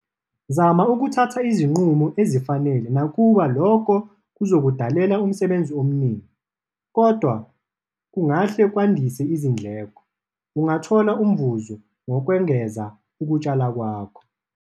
Zama ukuthatha izinqumo ezifanele nakuba lokho kuzokudalela umsebenzi omningi, nokungahle kwandise izindleko - ungathola umvuzo ngokwengeza ukutshala kwakho.